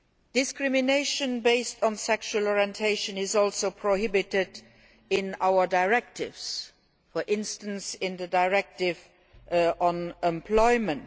Discrimination based on sexual orientation is also prohibited in our directives, for instance in the directive on employment.